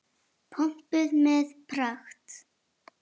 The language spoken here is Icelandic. Pompuð með pragt.